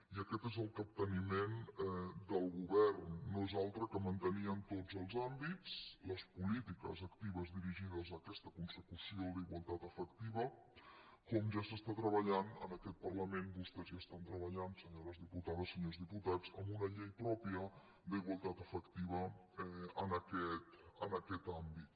i aquest és el capteniment del govern no és altre que mantenir en tots els àmbits les polítiques actives dirigides a aquesta consecució d’igualtat efectiva com ja s’està treballant en aquest parlament vostès hi estan treballant senyores diputades senyors diputats en una llei pròpia d’igualtat efectiva en aquest àmbit